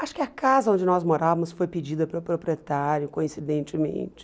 Acho que a casa onde nós morávamos foi pedida pelo proprietário, coincidentemente.